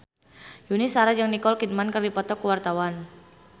Yuni Shara jeung Nicole Kidman keur dipoto ku wartawan